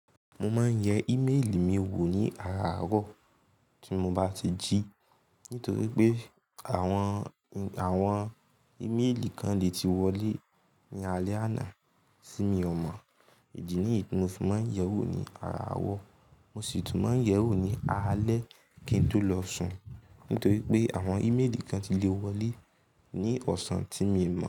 Mo máa ń yẹ íméèlì mi wò ní àràárọ̀ tí mo bá ti jí. Nítorí pé àwọn, àwọn íméèlì kan lè ti wọlé ní alẹ́ àná tí mi ò mọ̀. Èjì ní ìtumọ̀, mo sì máa ń yẹ wò ní àràárọ̀. Mo sì tún máa ń yẹ wò ní alẹ́ kí n tó lọ sùn. Nítorí pé àwọn íméèlì kan ti lè wọlé ní ọ̀sán tí mi ò mọ̀